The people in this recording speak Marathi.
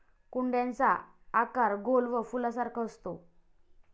कुंड्यांचा आकार गोल व फुलासारखा असतो.